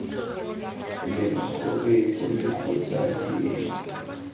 leng gore ole kgotsa diedi